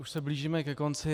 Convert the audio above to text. Už se blížíme ke konci.